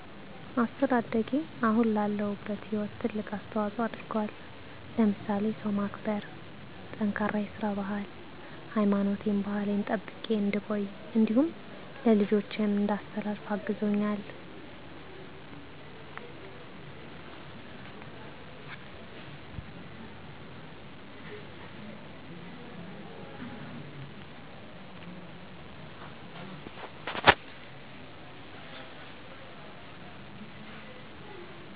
አስተዳደጌ አሁን ላለሁበት ህይወት ትልቅ አስተዋፆ አድርጎል ለምሳሌ ሰው ማክበር፣ ጠንካራ የስራ ባህል፣ ሀይማኖቴን ባህሌን ጠብቄ እንድቆይ እንዲሁም ለልጆቸም እንዳስተላልፍ አግዞኛል።